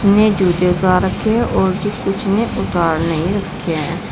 ने जूते उतार रखे हैं और भी कुछ ने उतार नहीं रखे हैं।